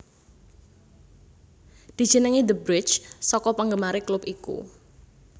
Dijenengi the bridge saka penggemare klub iku